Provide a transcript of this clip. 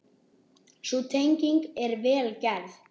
Sú tenging er vel gerð.